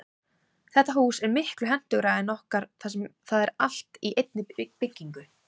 Þetta hús er miklu hentugra en okkar þar sem það er allt í einni byggingu.